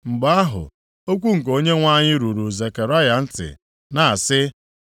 Mgbe ahụ, okwu nke Onyenwe anyị ruru Zekaraya ntị na-asị,